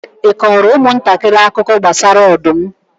ị kọọrọ ụmụntakịrị akụkọ gbasara ọdụm?